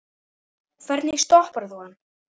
Hvernig stoppar þú hann?